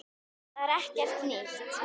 Það er ekkert nýtt.